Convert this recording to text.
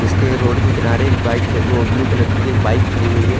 इसके रोड के किनारे एक बाईट एक ब्लू कलर की बाइक खड़ी है।